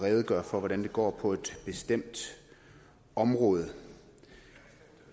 at redegøre for hvordan det går på et bestemt område